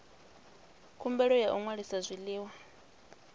khumbelo ya u ṅwalisa zwiḽiwa